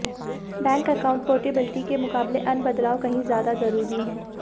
bank account portability के मुकाबले अन्य बदलाव कहीं ज्यादा जरूरी हैं